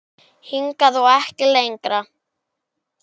Hingað og ekki lengra!